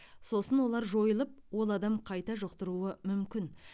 сосын олар жойылып ол адам қайта жұқтыруы мүмкін